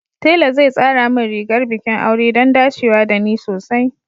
Tela zai tsara min rigar bikin aure don dacewa da ni sosai